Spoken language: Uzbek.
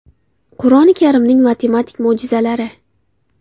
Qur’oni Karimning matematik mo‘jizalari.